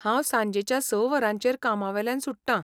हांव सांजेच्या स वरांचेर कामावेल्यान सुट्टां.